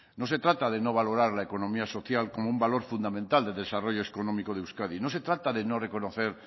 no se trata de no valorar la economía social como un valor fundamental del desarrollo económico de euskadi no se trata de no reconocer